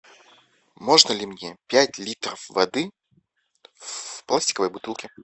можно ли мне пять литров воды в пластиковой бутылке